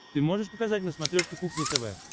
ты можешь показать на смотрешке кухня тв